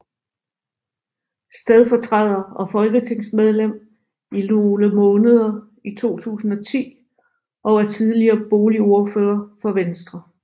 Stedfortræder og folketingsmedlem i nogle måneder i 2010 og er tidligere boligordfører for Venstre